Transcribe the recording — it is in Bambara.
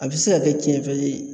A bɛ se ka kɛ tiɲɛfɛn ye